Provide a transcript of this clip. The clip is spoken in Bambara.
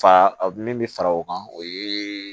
Fa min bɛ fara o kan o ye